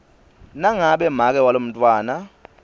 nangabe make walomntfwana